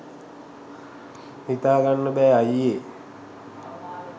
හිතා ගන්න බෑ අයියේ.